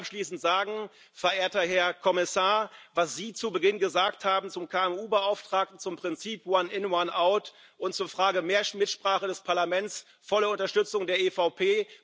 Ich möchte abschließend sagen, verehrter Herr Kommissar, was Sie zu Beginn gesagt haben zum KMU Beauftragten, zum Prinzip One in, one out und zur Frage mehr Mitsprache des Parlaments volle Unterstützung der EVP.